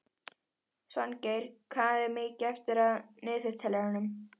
Svangeir, hvað er mikið eftir af niðurteljaranum?